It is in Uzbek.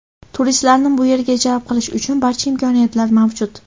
Turistlarni bu yerga jalb qilish uchun barcha imkoniyatlar mavjud.